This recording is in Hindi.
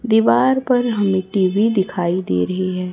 दीवार पर हमें टी_वी दिखाई दे रही है।